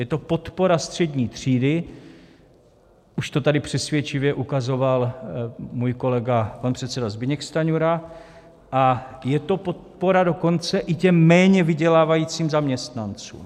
Je to podpora střední třídy, už to tady přesvědčivě ukazoval můj kolega pan předseda Zbyněk Stanjura, a je to podpora dokonce i těm méně vydělávajícím zaměstnancům.